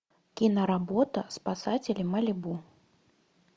киноработа спасатели малибу